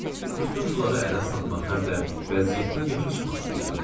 Bütün bunları ələ salmaq həm də vəziyyətdən yaxşı çıxmaq istəyirdim.